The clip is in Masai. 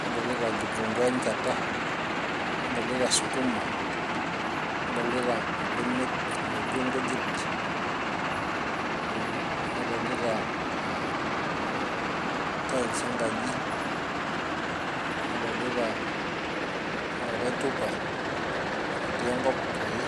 nadolita kitunguu enchata nadolita sukuma nadolita imbenek naijo inkujit ee nadolita tiles enkaji nadolita likae tupa otii enkop ake .